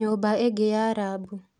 Nyũmba ĩngĩ nĩ rabu